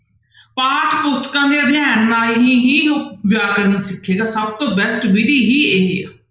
ਪਾਠ ਪੁਸਤਕਾਂ ਦੇ ਅਧਿਐਨ ਨਾਲ ਹੀ ਵਿਆਕਰਨ ਸਿਖੀ ਦਾ ਸਭ ਤੋਂ best ਵਿਧੀ ਹੀ ਇਹ ਹੈ।